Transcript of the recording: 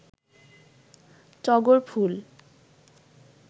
টগর ফুল